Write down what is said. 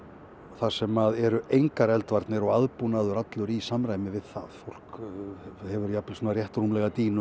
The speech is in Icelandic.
þar sem eru engar eldvarnir og aðbúnaður allur í samræmi við það fólk hefur jafnvel svona rétt rúmlega dýnu